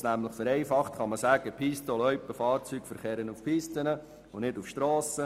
Vereinfacht kann man nämlich sagen, Pisten- und Loipenfahrzeuge verkehren auf Pisten und nicht auf Strassen.